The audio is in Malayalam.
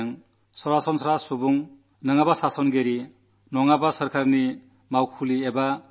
അതുകൊണ്ട് എല്ലാ സാധാരണ പൌരന്മാരും ഭരണാധികാരിയാണെങ്കിലും സർക്കാരോഫീസാണെങ്കിലും